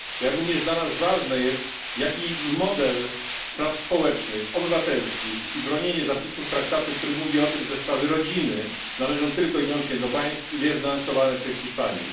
Jak również dla nas ważne jest to, jaki model spraw społecznych, obywatelskich i bronienie zapisów traktatu który mówi o tym, że sprawy rodziny należą tylko i wyłącznie do państw są lansowane przez Hiszpanię.